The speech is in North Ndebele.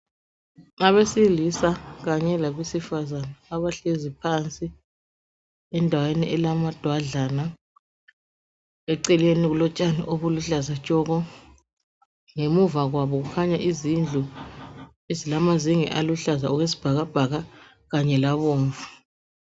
Abesilisa kanye labesifazana abahlezi phansi endaweni elama dwadlana eceleni kulotshani obuluhlaza tshoko ngemuva kwabo kukhanya izindlu ezilamazenge aluhlaza okwesibhakabhaka kanye labomvu.